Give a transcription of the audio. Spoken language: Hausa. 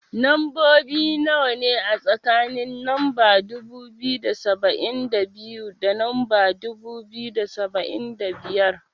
Lambobi nawa ne, a tsakanin lamba dubu biyu da saba'in da biyu, da lamba dubu biyu da saba'in da biyar.